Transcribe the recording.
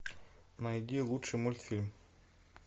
найди лучший мультфильм